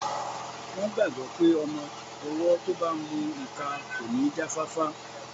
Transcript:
Wọ́n gbàgbọ́ pé ọmọ-ọwọ́ tó bá n mu ìka kò ní jáfáfá